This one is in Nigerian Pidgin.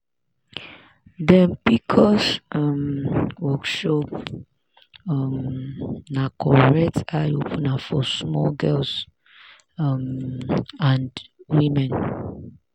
dem pcos um workshop um na correct eye opener for small girls um and women.